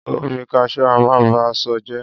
Omi Cashew a máa ba ṣọ jẹ́.